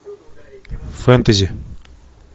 фэнтези